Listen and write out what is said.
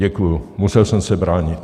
Děkuju, musel jsem se bránit.